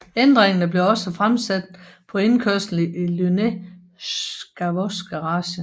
Ændringer blev også fremsat på indkørslen i Lynette Scavos garage